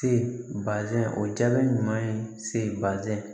Se bazɛn o jaabi ɲuman ye se baaze